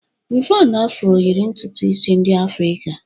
Wịvọn Afro yịrị ntutu isi ndị Afrịka